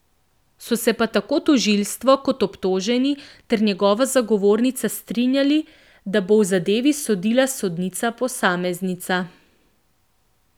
So se pa tako tožilstvo kot obtoženi ter njegova zagovornica strinjali, da bo v zadevi sodila sodnica posameznica.